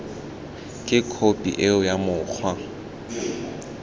ke khophi eo ya mokgwa